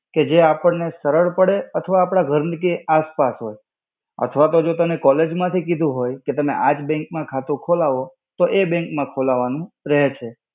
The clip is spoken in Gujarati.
કે જે આપણને સરળ પડે અથવા આપણા ઘરની આસ-પાસ હોય. અથવા તો જો તને college માંથી કીધું હોય, કે તમે આજ bank માં ખાતું ખોલાવો. તો એ bank માં ખોલાવાનું રેય છે.